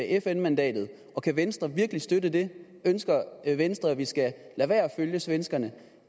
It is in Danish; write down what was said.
fn mandatet kan venstre virkelig støtte det ønsker venstre at vi skal lade være at følge svenskerne